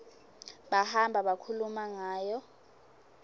bahamba bakhuluma ngayo